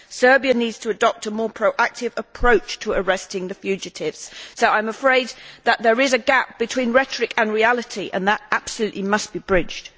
Serbia needs to adopt a more proactive approach to arresting the fugitives, so I am afraid that there is a gap between rhetoric and reality, and that gap absolutely must be bridged.